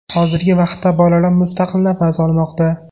Hozirgi vaqtda bolalar mustaqil nafas olmoqda.